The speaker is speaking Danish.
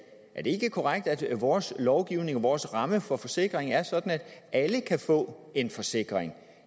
er det ikke korrekt at vores lovgivning og vores ramme for forsikring er sådan at alle kan få en forsikring